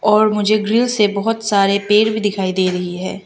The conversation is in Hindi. और मुझे ग्रीन से बहोत सारे पेड़ भी दिखाई दे रही हैं।